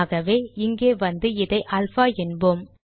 ஆகவே இங்கே வந்து இதை அல்பா என்போம்